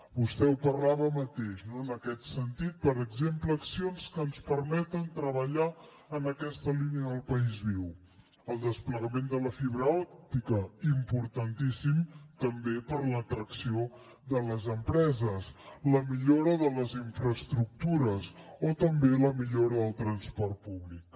vostè en parlava ara mateix en aquest sentit per exemple accions que ens permeten treballar en aquesta línia del país viu el desplegament de la fibra òptica importantíssim també per a l’atracció de les empreses la millora de les infraestructures o també la millora del transport públic